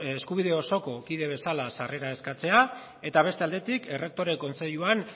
eskubide osoko kide bezala sarrera eskatzea eta beste aldetik errektore kontseiluan